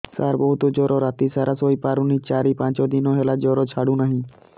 ସାର ବହୁତ ଜର ରାତି ସାରା ଶୋଇପାରୁନି ଚାରି ପାଞ୍ଚ ଦିନ ହେଲା ଜର ଛାଡ଼ୁ ନାହିଁ